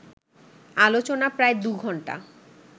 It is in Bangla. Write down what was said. আলোচনা প্রায় দু ঘন্টা